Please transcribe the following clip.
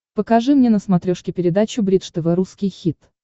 покажи мне на смотрешке передачу бридж тв русский хит